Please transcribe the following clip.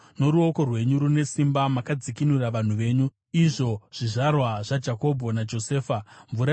Noruoko rwenyu rune simba, makadzikinura vanhu venyu, izvo zvizvarwa zvaJakobho naJosefa. Sera